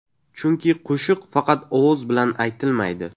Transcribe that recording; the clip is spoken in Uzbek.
Chunki qo‘shiq faqat ovoz bilan aytilmaydi.